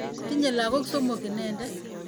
Tinyei lagok somok inendet.